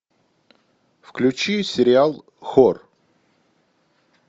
включи сериал хор